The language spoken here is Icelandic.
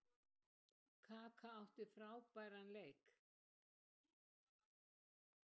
Kaka átti frábæran leik.